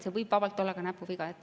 See võib vabalt olla ka näpuviga.